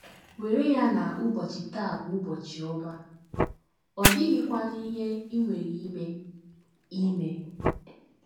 WERE ya na ụbọchị taa bụ ụbọchị ọma, ọ dịghịkwanụ ihe i nwere ime. ime.